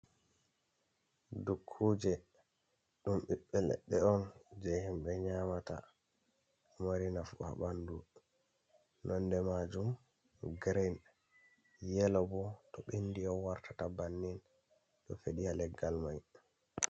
Dukkuje ɗum biɓɓe leɗɗe on je himɓe nyamata, mari nafu ha bandu, nonde majum gren, yelo bo to bindi on wartata bannin ɗo fedi ha leggal mai.